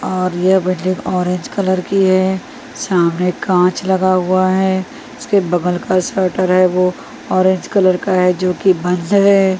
और ये बजेक ऑरेंज कलर की है सामने काँच लगा हुआ है इसके बगल का स्वेटर है वो ऑरेंज कलर का है जो कि बंद है।